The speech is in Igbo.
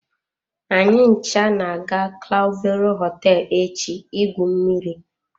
Anyị ncha na-aga clavero hoteelu echi igwu mmiri.